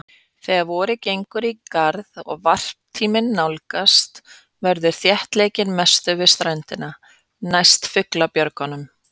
Þegar vorið gengur í garð og varptíminn nálgast verður þéttleikinn mestur við ströndina, næst fuglabjörgunum.